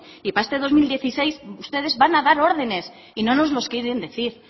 y para este dos mil dieciséis ustedes van a dar órdenes y no nos lo quieren decir